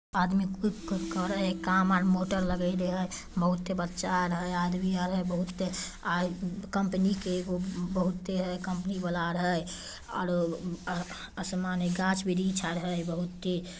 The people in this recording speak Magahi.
आदमी मोटर लगैले है बहुत ते बच्चा अरहेल है आदमी अर हेल है बहुत ते कंपनी के एगो बहुत ते है कंपनी वाला आर है अरों असमनो है गाछो ब्रिच्छो अरे है बहुत ही--